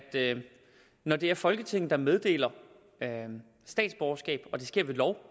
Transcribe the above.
når det er folketinget der meddeler statsborgerskab og det sker ved lov